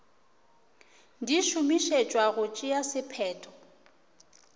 di šomišetšwa go tšea sephetho